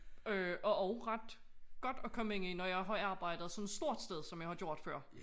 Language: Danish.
Øh og også ret godt at komme ind i når jeg har arbejdet sådan et stort sted som jeg har gjort før